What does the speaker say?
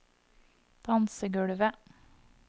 dansegulvet